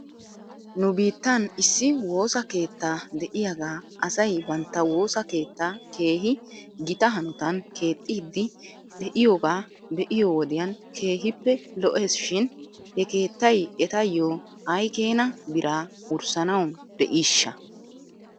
Nu biittan issi woosa keetta de'iyaa asay bantta woosa keetta keehi gita hanotan keexxiidi de'iyoogaa be'iyoo wodiyan keehippe lo'es shin he keettay etayyo aykeena biraa wurssanaw de'iishsha?